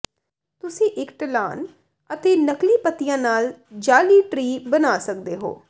ਤੁਸੀਂ ਇਕ ਢਲਾਨ ਅਤੇ ਨਕਲੀ ਪੱਤੀਆਂ ਨਾਲ ਜਾਅਲੀ ਟਰੀ ਬਣਾ ਸਕਦੇ ਹੋ